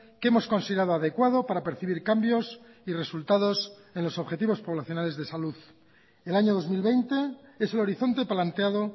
que hemos considerado adecuado para percibir cambios y resultados en los objetivos poblacionales de salud el año dos mil veinte es el horizonte planteado